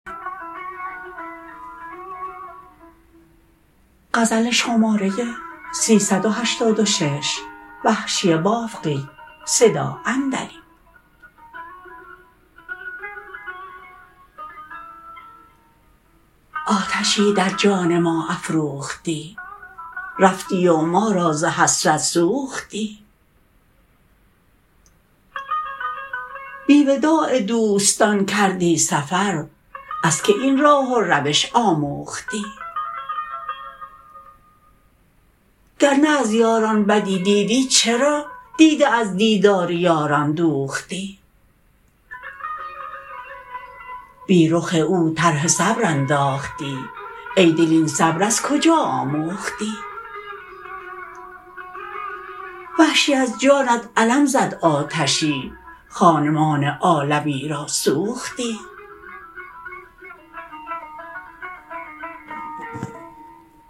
آتشی در جان ما افروختی رفتی و ما را ز حسرت سوختی بی وداع دوستان کردی سفر از که این راه و روش آموختی گرنه از یاران بدی دیدی چرا دیده از دیدار یاران دوختی بی رخ او طرح صبر انداختی ای دل این صبر از کجا آموختی وحشی از جانت علم زد آتشی خانمان عالمی را سوختی